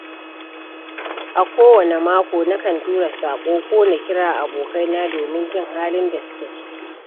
A kowane mako nakan tura saƙo ko na kira abokaina domin jin halin da suke ciki.